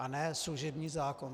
A ne služební zákon.